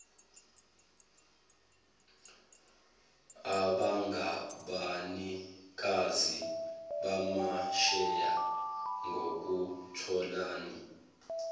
abangabanikazi bamasheya ngokuthobela